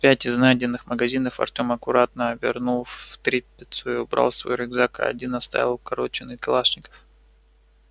пять из найденных магазинов артём аккуратно обернул в тряпицу и убрал в свой рюкзак а один вставил в укороченный калашников